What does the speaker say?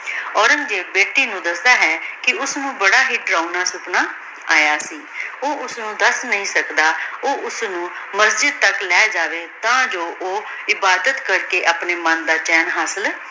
ਔਰੇਨ੍ਗ੍ਜ਼ੇਬ ਬੇਟੀ ਨੂ ਦਸਦਾ ਹੈ ਕੇ ਓਸਨੂ ਬਾਰਾ ਹੀ ਦੁਰਾਨਾ ਸਪਨਾ ਯਾ ਸੀ ਊ ਓਸਨੂ ਦੱਸ ਨਹੀ ਸਕਦਾ ਊ ਓਸਨੂ ਮਸਜਿਦ ਤਕ ਲੇ ਜਾਵੇ ਤਾਂ ਜੋ ਊ ਇਬਾਦਤ ਕਰ ਕੇ ਅਪਨੇ ਮਨ ਦਾ ਚੈਨ ਹਾਸਿਲ